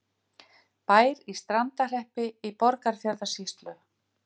Bær í Strandarhreppi í Borgarfjarðarsýslu.